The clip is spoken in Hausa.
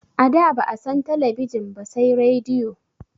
A da ba'a san talabijin ba sai radiyo